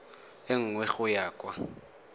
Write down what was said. e nngwe go ya kwa